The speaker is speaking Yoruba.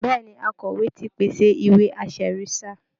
Bẹ́ẹ̀ ni, akọ̀wé ti pèsè ìwé-aṣẹ̀rí sáà